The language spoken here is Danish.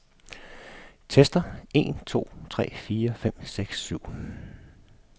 Tester en to tre fire fem seks syv otte.